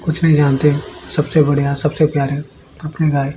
कुछ नहीं जानते सबसे बढ़िया सबसे प्यारा अपनी गाय--